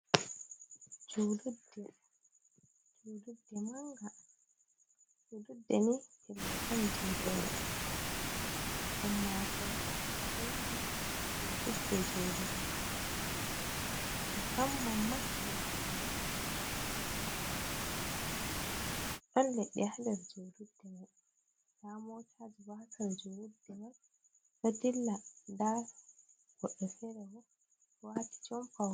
Julurde, julurde manga. Julurde ni pellel on je ummatore ɗo yaha julurde julugu musamman ma, yende jumɓare. Ɗon leɗɗe ha nder julurde mai nda motaji batal julurde mai ɗo dilla nda goɗɗo fere bo ɗo wati jompa.